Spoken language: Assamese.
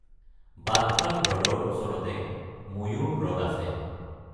বাদখাল হ্ৰদৰ ওচৰতে ময়ূৰ হ্ৰদ আছে।